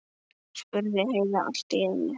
spurði Heiða allt í einu.